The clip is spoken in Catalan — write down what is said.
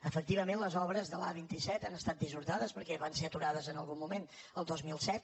efectivament les obres de l’a·vint set han estat dissorta·des perquè van ser aturades en algun moment el dos mil set